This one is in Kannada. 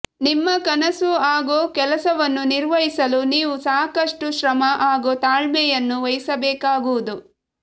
ನಿಮ್ಮ ಕನಸು ಹಾಗೂ ಕೆಲಸವನ್ನು ನಿರ್ವಹಿಸಲು ನೀವು ಸಾಕಷ್ಟು ಶ್ರಮ ಹಾಗೂ ತಾಳ್ಮೆಯನ್ನು ವಹಿಸಬೇಕಾಗುವುದು